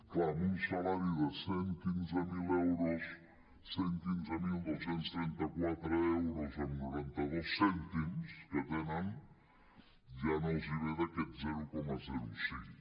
clar amb un salari de cent i quinze mil euros cent i quinze mil dos cents i trenta quatre coma noranta dos cèntims que tenen ja no els ve d’aquest zero coma cinc